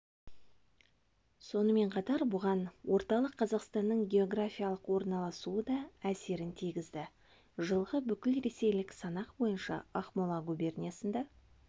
сонымен қатар бұған орталық қазақстанның географиялық орналасуы да әсерін тигізді жылғы бүкілресейлік санақ бойынша ақмола губерниясында